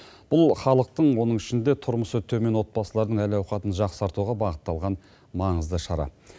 бұл халықтың оның ішінде тұрмысы төмен отбасылардың әл ауқатын жақсартуға бағытталған маңызды шара